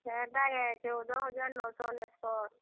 ହେଟା କେଁ ଚଉଦ ହଜାର ନଅ ଶହ ଅନେଶତ୍।